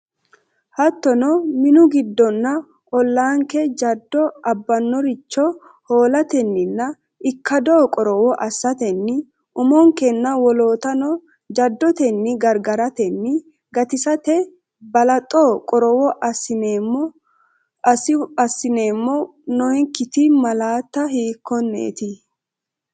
Hattono minu giddonna ollaanke jaddo abbannoricho hoolatenninna ikkado qorowo assatenni umonkenna wolootano jaddotenni gargaratenna gatisate balaxote qorowo assineemmo, nokkiti malaati hiikkonneeti?